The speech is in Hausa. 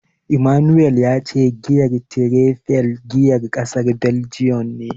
Emmanuel ya ce giyar Tiraifel giyar kasar Baljiyan ce.